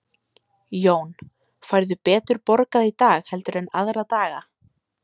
Jón: Færðu betur borgað í dag heldur en aðra daga?